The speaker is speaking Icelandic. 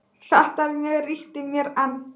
Þetta er mjög ríkt í mér enn.